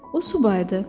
O subay idi.